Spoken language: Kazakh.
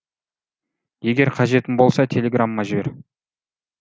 егер қажетім болса телеграмма жібер